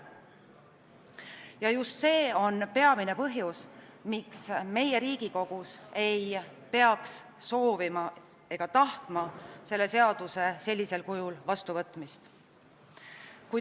Ja just see on peamine põhjus, miks meie Riigikogus ei peaks soovima selle eelnõu sellisel kujul vastuvõtmist.